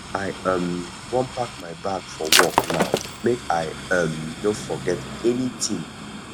i um wan pack my bag for work now make i um no forget anytin